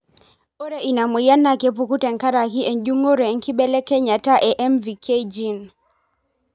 Ore ena moyian na kepuku tenkaraki ejungore enkibelekenyata e MVK gene